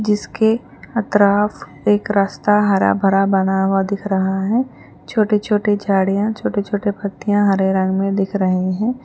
جس کے اطراف ایک راستہ ہرا بھرا بنا ہوا دکھ رہا ہے چھوٹے چھوٹے جھاڑیاں چھوٹے چھوٹے بھرتیاں ہرے رنگ میں دکھ رہی ہیں.